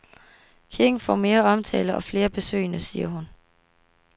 Kirken får mere omtale og flere besøgende, siger hun.